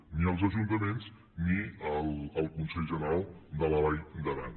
ni als ajuntaments ni al consell general de la vall d’aran